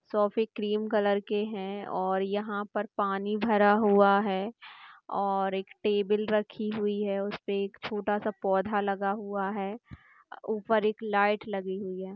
सोफ़े cream colour के है और यहा पर पानी भरा हुआ है और एक टेबल रखी हुई है उसपे एक छोटा सा पौधा लगा हुआ है उपर एक लाइट लगी हुई है।